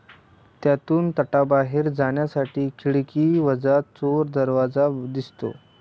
त्यातून तटाबाहेर जाण्यासाठी खिडकीवजा चोर दरवाजा दिसतो.